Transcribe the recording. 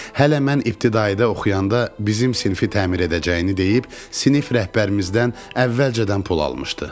Hələ mən ibtidahidə oxuyanda bizim sinfi təmir edəcəyini deyib sinif rəhbərimizdən əvvəlcədən pul almışdı.